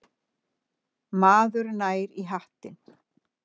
Maður nær í hattinn.